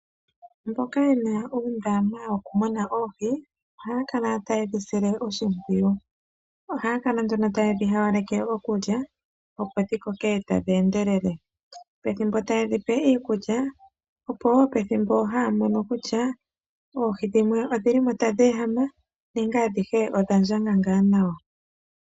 Mboka ye na uundama woku muna oohi ohaya kala taye dhi sile oshimpwiyu. Ohaya kala nduno ta ye dhi hayaleke okulya opo dhikoke tadhi endelele. Pethimbo taye dhi pe iikulya opowo pethimbo haya mono kutya oohi dhimwe odhili mo tadhi ehama nenge adhihe odha ndjanga nga nawa.